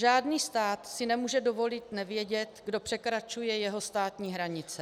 Žádný stát si nemůže dovolit nevědět, kdo překračuje jeho státní hranice.